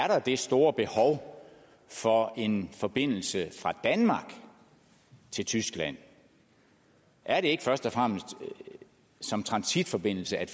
der er det store behov for en forbindelse fra danmark til tyskland er det ikke først og fremmest som transitforbindelse at